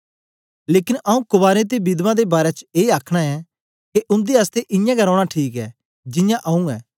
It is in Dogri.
लेकन आऊँ कवारें ते विधवां दे बारै च ए आखना ऐं के उन्दे आसतै इयां गै रौना ठीक ऐ जियां आऊँ ऐं